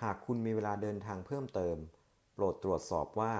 หากคุณมีเวลาเดินทางเพิ่มเติม โปรดตรวจสอบว่า